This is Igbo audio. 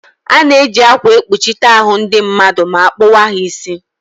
Ana-eji akwa ekpuchite ahụ ndị mmadụ ma akpụwa ha isi.